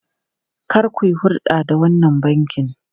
Kar ku yi hurɗa da wannan bankin!